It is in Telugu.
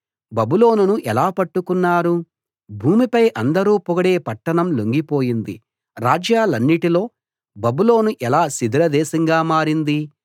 బబులోనును ఎలా పట్టుకున్నారు భూమిపై అందరూ పొగిడే పట్టణం లొంగిపోయింది రాజ్యాలన్నిటిలో బబులోను ఎలా శిథిల దేశంగా మారింది